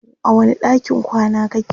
a wani ɗakin kwana kake?